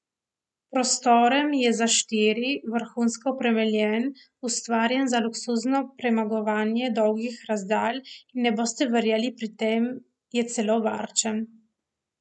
Prostoren je za štiri, vrhunsko opremljen, ustvarjen za luksuzno premagovanje dolgih razdalj in, ne boste verjeli, pri tem je celo varčen.